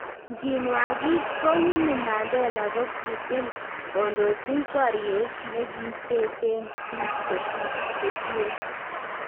Nkinwaakit ko Winnie Mandela kokitiil kondochi baryeet nekiteechen biik chetueen